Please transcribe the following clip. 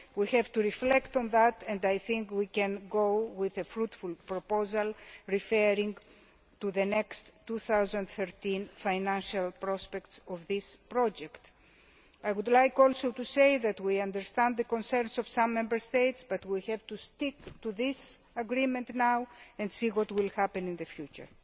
We have to reflect on that and I think we can come up with a fruitful proposal relating to the upcoming 2013 financial prospects of this project. I would like also to say that we understand the concerns of some Member States, but we have to stick to this agreement now and see what will happen in the future.